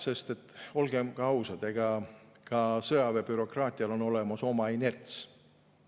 Sest olgem ausad, ka sõjaväebürokraatial on olemas oma inerts.